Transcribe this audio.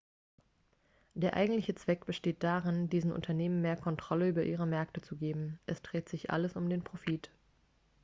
der eigentliche zweck besteht darin diesen unternehmen mehr kontrolle über ihre märkte zu geben es dreht sich alles um den profit